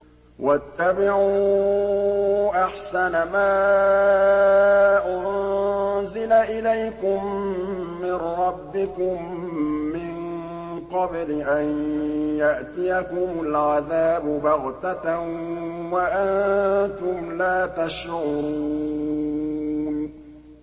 وَاتَّبِعُوا أَحْسَنَ مَا أُنزِلَ إِلَيْكُم مِّن رَّبِّكُم مِّن قَبْلِ أَن يَأْتِيَكُمُ الْعَذَابُ بَغْتَةً وَأَنتُمْ لَا تَشْعُرُونَ